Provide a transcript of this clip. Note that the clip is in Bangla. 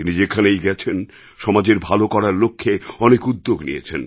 তিনি যেখানেই গেছেন সমাজের ভালো করার লক্ষ্যে অনেক উদ্যোগ নিয়েছেন